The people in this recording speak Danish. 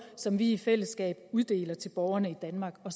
som vi i fællesskab uddeler til borgerne i danmark og